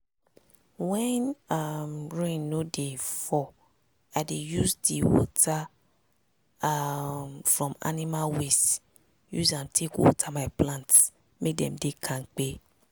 when um rain no dey fall i dey use di water um from animal waste use am take water my plants make dem dey kampe.